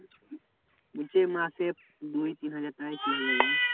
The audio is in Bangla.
বলছি মাসে দুই তিন হাজার টাকায় কি হবে বল?